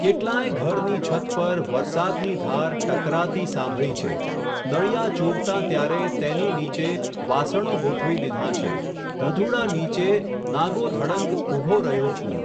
કેટલાંય ઘરની છત પર, વરસાદની ધાર, ટકરાતી સાંભળી છે, નળિયાં ચૂવતાં ત્યારે, તેની નીચે, વાસણો ગોઠવી દીધાં છે, ધધૂડા નીચે, નાગોધડંગ, ઊભો રહ્યો છું.